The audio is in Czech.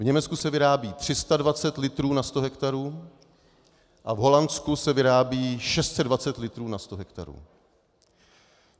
V Německu se vyrábí 320 litrů na sto hektarů a v Holandsku se vyrábí 620 litrů na sto hektarů.